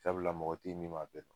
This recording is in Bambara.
Sabula mɔgɔ te yen min m'a bɛɛ dɔn